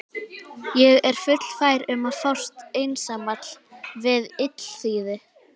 Ég er fullfær um að fást einsamall við illþýði!